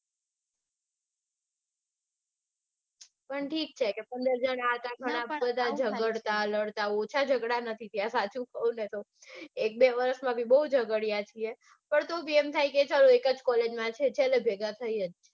પણ ઠીક છે કે પંદર જન હતા બધા લડતા જગાડતા ઓછા જગડા નથી થયા સાચું કૌ ને તો. એક બે વરસમાં અમે બૌ જગાડ્યા છીએ પણ તો બી એમ થાય કે એક જ collge માં છીએ છેલ્લે ભેગા થઇ જ જાય.